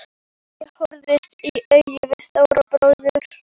Ég horfðist í augu við Stóra bróður.